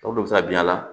Tɔ bɛɛ bɛ se ka bin a la